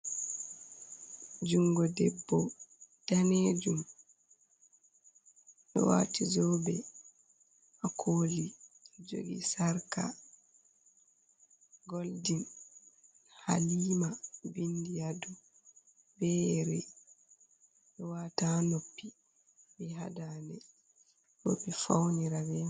Jungo debbo danejum, ɗo wati zobe ha koli jogi sarqa golden, halima vindi ha dow be yeri wata noppi be ha dande roɓe faunira be mai.